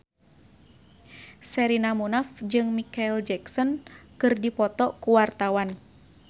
Sherina Munaf jeung Micheal Jackson keur dipoto ku wartawan